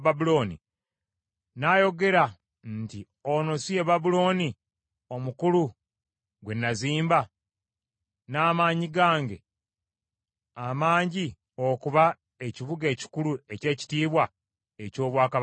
n’ayogera nti, “Ono si ye Babulooni omukulu gwe nazimba n’amaanyi gange amangi okuba ekibuga ekikulu eky’ekitiibwa eky’obwakabaka bwange?”